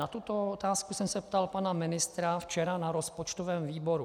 Na tuto otázku jsme se ptal pana ministra včera na rozpočtovém výboru.